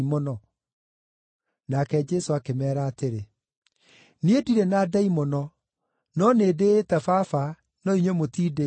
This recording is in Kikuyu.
Nake Jesũ akĩmeera atĩrĩ, “Niĩ ndirĩ na ndaimono, no nĩndĩĩte Baba, no inyuĩ mũtindĩĩte.